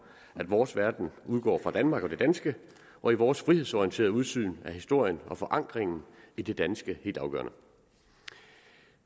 at vores verden udgår fra danmark og det danske og i vores frihedsorienterede udsyn er historien og forankringen i det danske helt afgørende